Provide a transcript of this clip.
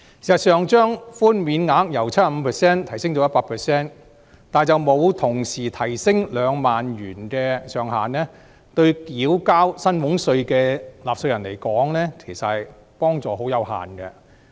事實上，把寬免額由 75% 提升至 100%， 卻沒有同時提升2萬元的上限，對繳交薪俸稅的納稅人來說，其實幫助十分有限。